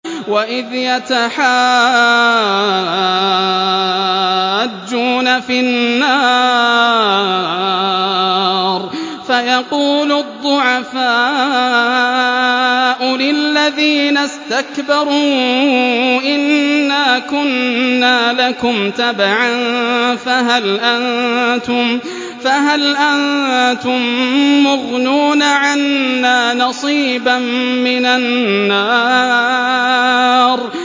وَإِذْ يَتَحَاجُّونَ فِي النَّارِ فَيَقُولُ الضُّعَفَاءُ لِلَّذِينَ اسْتَكْبَرُوا إِنَّا كُنَّا لَكُمْ تَبَعًا فَهَلْ أَنتُم مُّغْنُونَ عَنَّا نَصِيبًا مِّنَ النَّارِ